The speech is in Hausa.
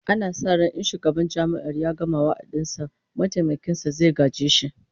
Ana sa ran in shugaban Jami'ar ya gama wa'adin sa, mataimakin sa zai gaje shi